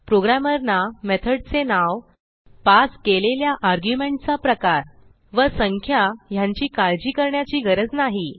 प्रोग्रॅमरना मेथडचे नाव पास केलेल्या आर्ग्युमेंट चा प्रकार व संख्या ह्यांची काळजी करण्याची गरज नाही